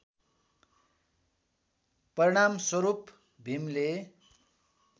परिणामस्वरूप भीमले